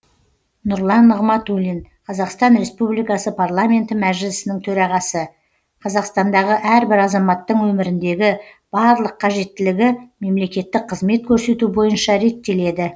нұрлан нығматулин қазақстан республикасы парламенті мәжілісінің төрағасы қазақстандағы әрбір азаматтың өміріндегі барлық қажеттілігі мемлекеттік қызмет көрсету бойынша реттеледі